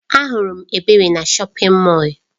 Ahụrụ m Ebere na shọpin Mọll.